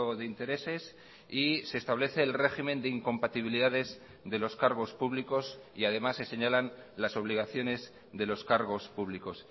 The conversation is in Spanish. de intereses y se establece el régimen de incompatibilidades de los cargos públicos y además se señalan las obligaciones de los cargos públicos